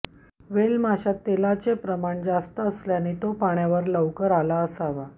whale माशात तेलाचे प्रमाण जास्त असल्याने तो पाण्यावर लवकर आला असावा